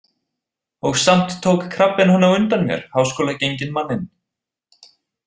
Og samt tók krabbinn hann á undan mér, háskólagenginn manninn.